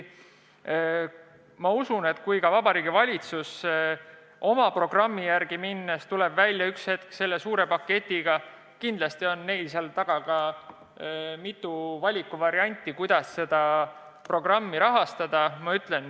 Ma usun, et kui Vabariigi Valitsus oma programmi ellu viies tuleb ühel hetkel välja suure paketiga, siis kindlasti on neil mitu valikuvarianti, kuidas seda kõike rahastada.